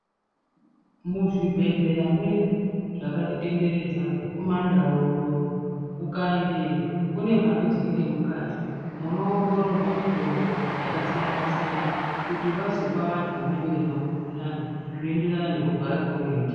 Muzvibhedhlera mwedu zvakatitenderedza kumandau uno ukaendeyo kune mphatso dziri ngemukati munoongororwa mitombo yakasiyana siyana kuti vazopa vantu vanenge veizwa mukuhlani zvinoenderana nekurwara kweunoita.